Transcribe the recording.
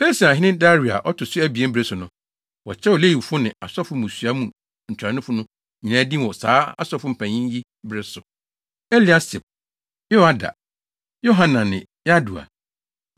Persiahene Dario a ɔto so abien bere so no, wɔkyerɛw Lewifo ne asɔfo mmusua mu ntuanofo no nyinaa din wɔ saa asɔfo mpanyimfo yi bere so: Eliasib, Yoiada, Yohanan, ne Yadua.